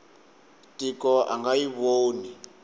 tiko a nga yi voni